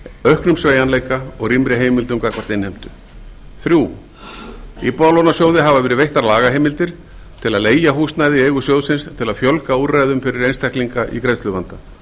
auknum sveigjanleika og rýmri heimildum gagnvart innheimtu þriðja íbúðalánasjóði hafa verið veittar lagaheimildir til að leigja húsnæði í eigu sjóðsins til að fjölga úrræðum fyrir einstaklinga í greiðsluvanda